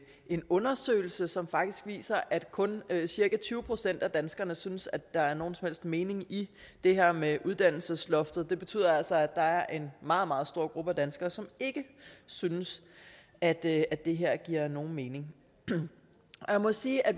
en undersøgelse som faktisk viser at kun cirka tyve procent af danskerne synes at der er nogen helst mening i det her med uddannelsesloftet det betyder altså er en meget meget stor gruppe danskere som ikke synes at at det her giver nogen mening jeg må sige at